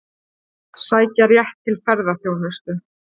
Sækja rétt til ferðaþjónustu